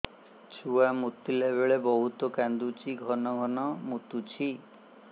ଛୁଆ ମୁତିଲା ବେଳେ ବହୁତ କାନ୍ଦୁଛି ଘନ ଘନ ମୁତୁଛି